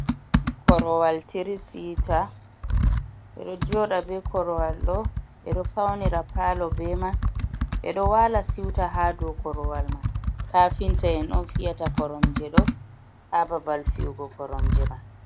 Korowal tiri sita. Ɓe ɗo joɗa be korowal ɗo, ɓe ɗo faunira palo be man, ɓe ɗo wala siwta ha do korowal man. Kafinta en on fiyata koromje ɗo ha babal fiyugo koromje man.